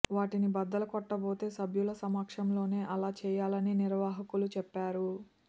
వాటిని బద్దలు కొట్టబోతే సభ్యుల సమక్షంలోనే అలా చేయాలని నిర్వాహకులు చెప్పారు